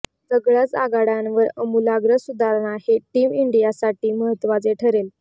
सगळयाच आघाडयांवर अमुलाग्र सुधारणा हे टीम इंडियासाठी महत्त्वाचे ठरेल